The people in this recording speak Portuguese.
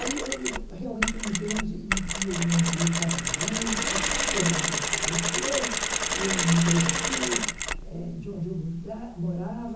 Aí houve realmente uns anos em que o meu marido estava doente, pois meu marido faleceu, eu me mudei daqui, de onde eu morava,